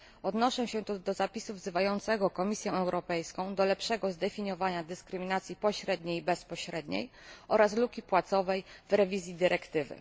Odnoszę się tu do zapisu wzywającego Komisję Europejską do lepszego zdefiniowania dyskryminacji pośredniej i bezpośredniej oraz luki płacowej w przeglądzie dyrektywy.